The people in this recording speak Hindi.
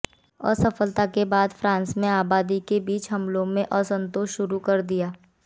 असफलता के बाद फ्रांस में आबादी के बीच हमलों और असंतोष शुरू कर दिया